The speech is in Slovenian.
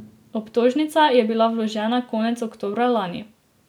Obtožnica je bila vložena konec oktobra lani.